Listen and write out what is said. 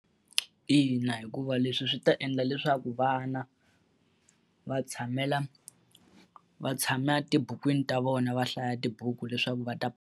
Ina hikuva leswi swi ta endla leswaku vana va tshamela va tshama tibukwini ta vona va hlaya tibuku leswaku va ta.